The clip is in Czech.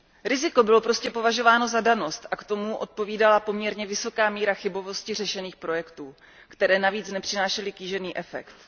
Riziko bylo prostě považováno za danou skutečnost a tomu odpovídala poměrně vysoká míra chybovosti řešených projektů, které navíc nepřinášely kýžený efekt.